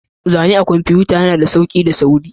Zane akan kwamfuta yana da sauƙi da sauri.